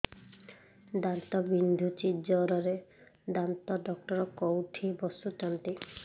ଦାନ୍ତ ବିନ୍ଧୁଛି ଜୋରରେ ଦାନ୍ତ ଡକ୍ଟର କୋଉଠି ବସୁଛନ୍ତି